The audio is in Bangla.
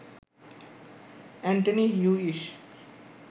Antony Hewish